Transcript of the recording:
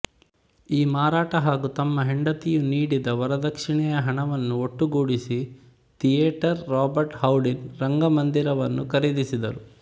ಈ ಮಾರಾಟ ಹಾಗು ತಮ್ಮ ಹೆಂಡತಿಯು ನೀಡಿದ ವರದಕ್ಷಿಣೆಯ ಹಣವನ್ನು ಒಟ್ಟುಗೂಡಿಸಿ ಥಿಯೇಟರ್ ರಾಬರ್ಟ್ ಹೌಡಿನ್ ರಂಗಮಂದಿರವನ್ನು ಖರೀದಿಸಿದರು